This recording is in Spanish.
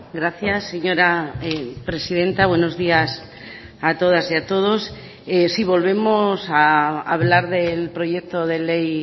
gracias señora presidenta buenos días a todas y a todos sí volvemos a hablar del proyecto de ley